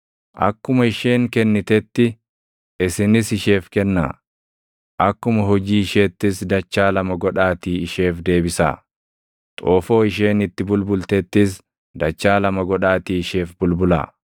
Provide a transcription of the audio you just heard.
Akkuma isheen kennitetti isinis isheef kennaa; akkuma hojii isheettis dachaa lama godhaatii isheef deebisaa. Xoofoo isheen itti bulbultettis dachaa lama godhaatii isheef bulbulaa.